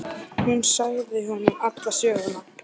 Hún sagði honum alla söguna.